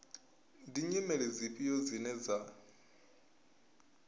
ndi nyimele dzifhio dzine dza